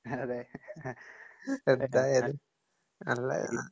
അതെ.